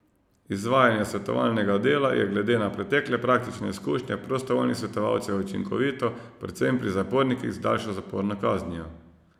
Izvajanje svetovalnega dela je glede na pretekle praktične izkušnje prostovoljnih svetovalcev učinkovito predvsem pri zapornikih z daljšo zaporno kaznijo.